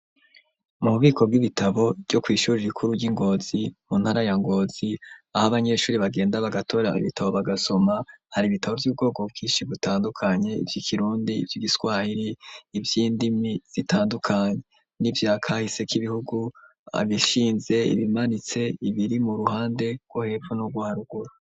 Mububiko bw'ibitabo vyo kw'ishure rikuru ry'i Ngozi mu ntara ya Ngozi aho abanyeshure bagenda bagatora ibitabo bagasoma, hari ibitabo vy'ubwoko bwinshi butandukanye ivyikirundi, ivyigiswahiri, ivyindimi zitandukanye, n'ivyakahise k'ibihugu, ibishinze, ibimanitse, n'ibiri mu ruhande rwo hepfo n'urwo harugura.